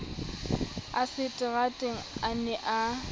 a seterateng a ne a